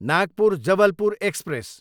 Nagpur, Jabalpur express